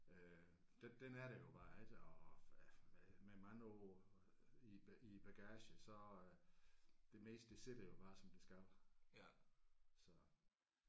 Øh den den er der jo bare ik og og øh med med mange år i i bagagen så øh det meste det sidder jo bare som det skal så